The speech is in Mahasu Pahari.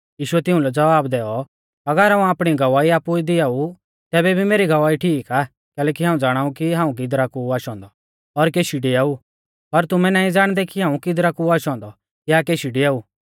यीशुऐ तिउंलै ज़वाब दैऔ अगर हाऊं आपणी गवाही आपु ई दिआऊ तैबै भी मेरी गवाही ठीक आ कैलैकि हाऊं ज़ाणाऊ कि हाऊं किदरा कु ऊ आशौ औन्दौ और केशी डिआऊ पर तुमै नाईं ज़ाणदै कि हाऊं किदरा कु आशौ औन्दौ या केशी डिआऊ